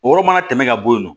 O yɔrɔ mana tɛmɛ ka bɔ yen nɔ